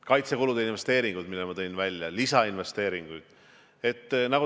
Kaitsekulude investeeringud, mis ma tõin välja, lisainvesteeringud.